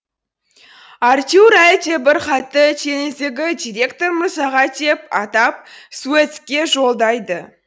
артюр әлдебір хатты теңіздегі директор мырзаға деп атап суэцке жолдайды